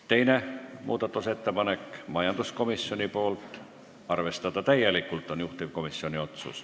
Teine muudatusettepanek on majanduskomisjonilt, otsus: arvestada täielikult.